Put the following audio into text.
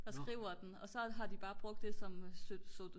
der skriver den og så har de bare brugt det som